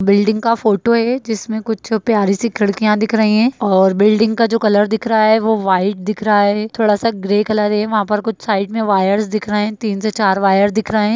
Building का photo है जिसमे कुछ प्यारी सी खिड़किया दिख रही है और बिल्डिंग का जो कलर दिख रहा है वो व्हाइट दिख रहा हैथोड़ा सा ग्रे कलर है वहां पे कुछ साइड में वायर्स दिख रहे है तीन से चार वायर दिख रहे है।